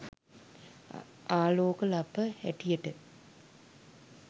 ආලෝක ලප හැටියට.